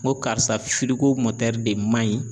N ko karisa firigo de man ɲi.